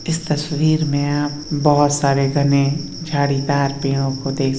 इस तस्वीर में बहुत सारे घने झाड़ीदार पेड़ पौधे --